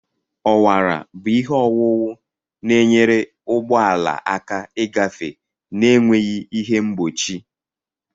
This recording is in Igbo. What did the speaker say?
Ọwara bụ ihe owuwu na-enyere ụgbọ ala aka ịgafe na-enweghị ihe mgbochi.